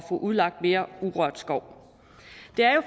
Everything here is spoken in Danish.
få udlagt mere urørt skov det er jo